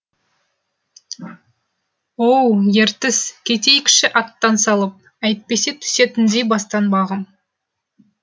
оу ертіс кетейікші аттан салып әйтпесе түсетіндей бастан бағым